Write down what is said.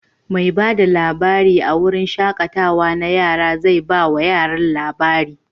Mai ba da labari a wurin shaƙatawa na yara zai ba wa yaran labari.